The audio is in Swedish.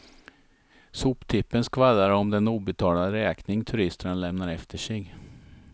Soptippen skvallrar om den obetalda räkning turisterna lämnar efter sig.